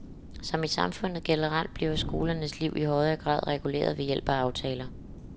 Som i samfundet generelt bliver skolens liv i højere grad reguleret ved hjælp af aftaler.